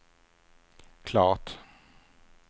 klart